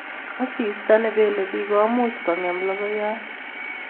Asista ne pelei pich ko muchi ko ng'em logoiyat